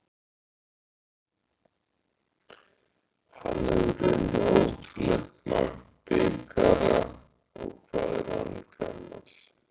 Hann hefur unnið ótrúlegt magn bikara og hvað er hann gamall?